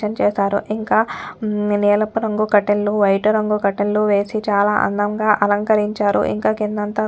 చేశారు ఇంకా నీలపు రంగు కటైన్ లు వైటు రంగు కటైన్ లు వేసి చాలా అందంగా అలంకరించారుఇంక కిందంతా కూడా --.